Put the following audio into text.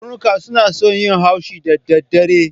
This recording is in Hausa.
Karnuka na son yin haushi da dadare